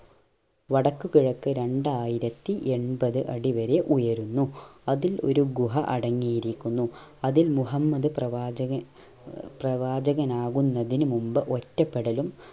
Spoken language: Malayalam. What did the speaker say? വടക്ക് കിഴക്ക് രണ്ടായിരത്തി എൺപത് അടി വരെ ഉയരുന്നു അതിൽ ഒരു ഗുഹ അടങ്ങീരിക്കുന്നു അതിൽ മുഹമ്മദ് പ്രവാചക പ്രവാചകാനാകുന്നതിനു മുമ്പ് ഒറ്റപ്പെടലും